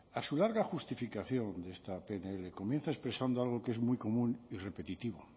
a su larga justificación de esta pnl comienza expresando algo que es muy común y repetitivo